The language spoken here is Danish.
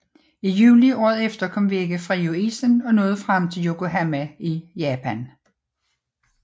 I juli året efter kom Vega fri af isen og nåede frem til Yokohama i Japan